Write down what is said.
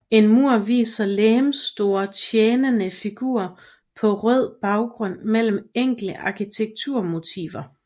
En mur viser legemsstore tjenende figurer på rød baggrund mellem enkle arkitekturmotiver